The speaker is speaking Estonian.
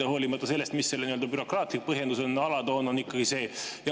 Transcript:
Hoolimata sellest, mis selle nii-öelda bürokraatlik põhjendus on, alatoon on ikkagi see.